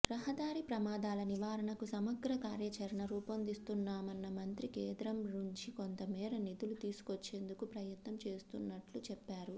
రహదారి ప్రమాదాల నివారణకు సమగ్ర కార్యాచరణ రూపొందిస్తున్నామన్న మంత్రి కేంద్రం నుంచి కొంతమేర నిధులు తీసుకొచ్చేందుకు ప్రయత్నం చేస్తున్నట్లు చెప్పారు